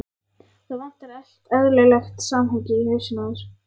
Það vantar allt eðlilegt samhengi í hausinn á þér.